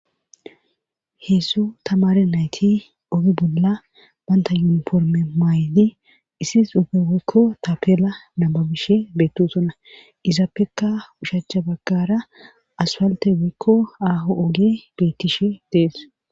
heessu tamare nayti ogi bolla banta yuniforme maayidi issife weykko tapela manabishe beettosona izappekka ushacha baggara aswalte woykko aaho oge beettishe dees